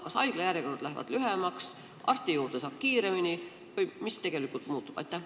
Kas haiglajärjekorrad lähevad lühemaks, arsti juurde saab kiiremini või mis tegelikult muutub?